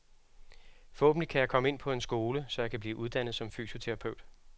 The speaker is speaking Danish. Forhåbentlig kan jeg komme ind på en skole, så jeg kan blive uddannet som fysioterapeut.